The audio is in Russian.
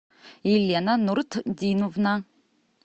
елена нуртдиновна